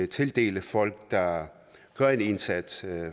tildele folk der gør en indsats